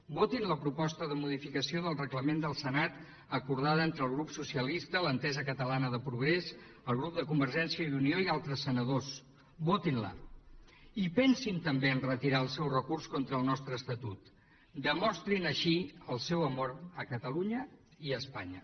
votin la proposta de modificació del reglament del senat acordada entre el grup socialista l’entesa catalana de progrés el grup de convergència i unió i altres senadors votin la i pensin també a retirar el seu recurs contra el nostre estatut demostrin així el seu amor a catalunya i a espanya